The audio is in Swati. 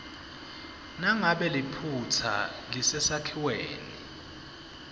nangabe liphutsa lisesakhiweni